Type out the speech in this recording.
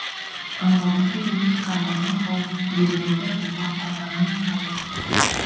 аңғалдықпенен қармағын қауып бермеді опа алғаның тауып